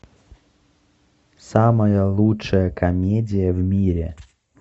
самая лучшая комедия в мире